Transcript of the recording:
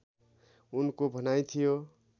उनको भनाइ थियो